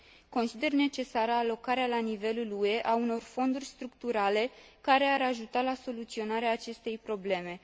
Consider necesară alocarea la nivelul UE a unor fonduri structurale, care ar ajuta la soluționarea acestei probleme.